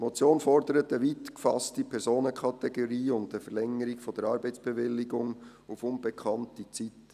Die Motion fordert eine weit gefasste Personenkategorie und eine Verlängerung der Arbeitsbewilligung auf unbekannte Zeit.